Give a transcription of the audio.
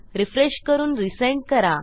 refresh करून resend करा